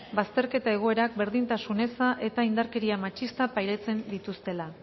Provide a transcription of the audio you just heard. bazterketa egoerak berdintasun eza eta indarkeria matxista pairatzen dituztela